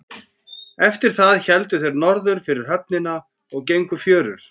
Eftir það héldu þeir norður fyrir höfnina og gengu fjörur.